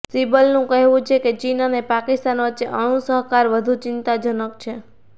સિબ્બલનું કહેવું છે કે ચીન અને પાકિસ્તાન વચ્ચે અણુ સહકાર વધુ ચિંતાજનક છે